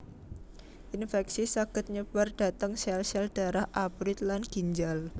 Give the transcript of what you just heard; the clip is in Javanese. Inféksi saged nyebar dhateng sél sél dharah abrit lan ginjal